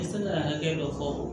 I tɛ se ka hakɛ dɔ fɔ